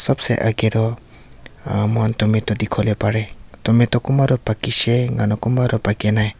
age toh ah moikhan tomato dikhi wo le pare tomato kunba toh pakishe enakurina kunba toh paki nai.